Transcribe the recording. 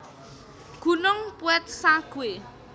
Gunung Peuet Sague